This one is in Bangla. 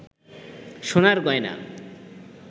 সোনার গয়না